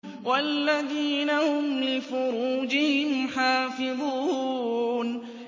وَالَّذِينَ هُمْ لِفُرُوجِهِمْ حَافِظُونَ